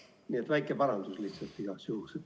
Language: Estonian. Nii et väike parandus lihtsalt igaks juhuks.